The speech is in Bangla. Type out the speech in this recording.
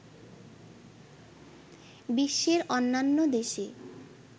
বিশ্বের অন্যান্য দেশে